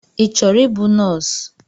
I chọrọ ịbụ nọọsụ?